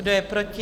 Kdo je proti?